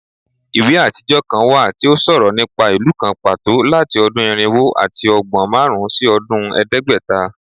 Iwe atijọ kan wa ti o sọrọ nipa ilu kan pato lati ọdun irinwo ati ọgbọn marun si ọdun ẹdẹgbẹta